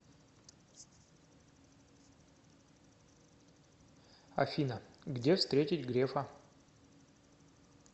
афина где встретить грефа